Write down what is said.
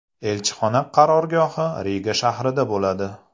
Elchixona qarorgohi Riga shahrida bo‘ladi.